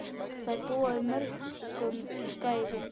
Þær búa yfir mörgum gæðum.